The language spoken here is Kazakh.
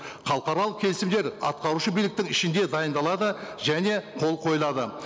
халықаралық келісімдер атқарушы биліктің ішінде дайындалады және қол қойылады